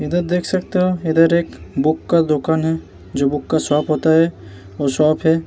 इधर देख सकते हो इधर एक बुक का दुकान है जो बुक का शॉप होता है वो शॉप है।